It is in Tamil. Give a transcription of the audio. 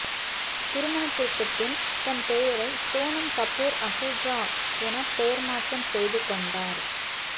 திருமணத்திற்கு பின் தன் பெயரை சோனம் கபூர் அஹுஜா என்ப் பெயர் மாற்றம் செய்து கொண்டார்